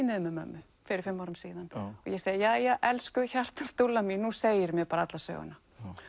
niður með mömmu fyrir fimm árum síðan ég segi jæja elsku hjartans mín nú segirðu mér alla söguna